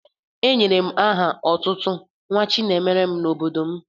Enyere m aha otutu Nwachinemere n'obodo m.